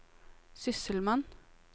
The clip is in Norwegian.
sysselmann